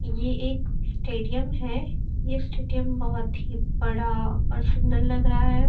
यह एक स्टेडियम है यह स्टेडियम बहुत ही बड़ा और सुंदर लग रहा है।